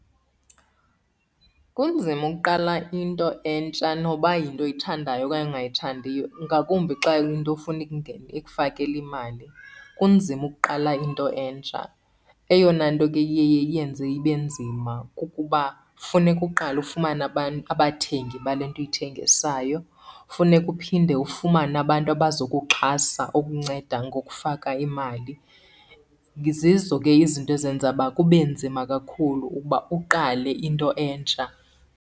Kunzima ukuqala into entsha noba yinto oyithandayo okanye ongayithandiyo, ngakumbi xa kuyinto ofuna ikufakele imali, kunzima ukuqala into entsha. Eyona nto ke iye iyenze ibe nzima kukuba funeka uqale ufumane abathengi bale nto uyithengisayo. Funeka uphinde ufumane abantu abazokuxhasa ukunceda ngokufaka imali. Zizo ke izinto ezenza uba kube nzima kakhulu ukuba uqale into entsha.